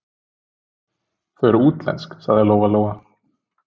Þau eru útlensk, sagði Lóa-Lóa.